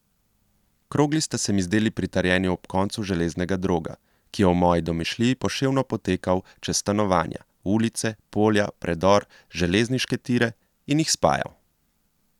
Krogli sta se mi zdeli pritrjeni ob konca železnega droga, ki je v moji domišljiji poševno potekal čez stanovanja, ulice, polja, predor, železniške tire in jih spajal.